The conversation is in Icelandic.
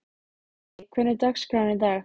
en hann gat það ekki, bara gat það ekki.